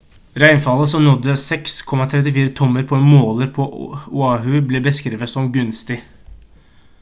regnfallet som nådde 6,34 tommer på en måler på oahu ble beskrevet som «gunstig»